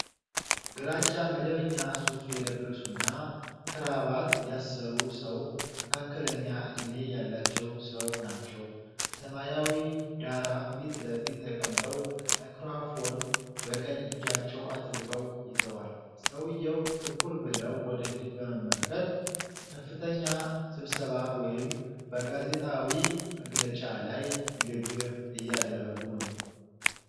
ግራጫ መደበኛ ሱፍ የለበሱና ክራባት ያሰሩ ሰው መካከለኛ ዕድሜ ያላቸው ሰው ናቸው። በሰማያዊ ዳራ ፊት ለፊት ተቀምጠው ማይክሮፎን በቀኝ እጃቸው አጥብቀው ይዘዋል። ሰውየው ትኩር ብለው ወደፊት በመመልከት በከፍተኛ ስብሰባ ወይም በጋዜጣዊ መግለጫ ላይ ንግግር እያደረጉ ነው።